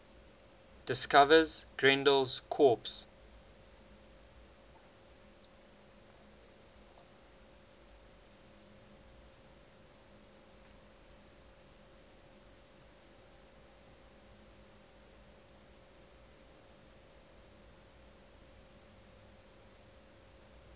discovers grendel's corpse